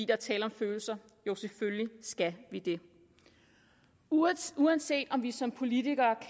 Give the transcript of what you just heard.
er tale om følelser jo selvfølgelig skal vi det uanset uanset om vi som politikere